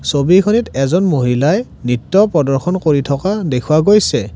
ছবিখনিত এজন মহিলাই নৃত্য প্ৰদৰ্শন কৰি থকা দেখুওৱা গৈছে।